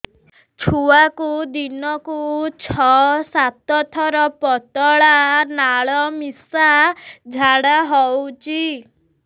ଛୁଆକୁ ଦିନକୁ ଛଅ ସାତ ଥର ପତଳା ନାଳ ମିଶା ଝାଡ଼ା ହଉଚି